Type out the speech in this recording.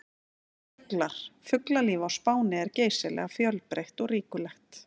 Fuglar: Fuglalíf á Spáni er geysilega fjölbreytt og ríkulegt.